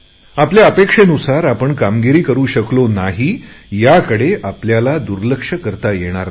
आपल्या अपेक्षेनुसार आपण कामगिरी करु शकलो नाही याकडे आपल्याला दुर्लक्ष करता येणार नाही